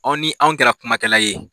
Aw ni anw kɛra kumakɛla ye.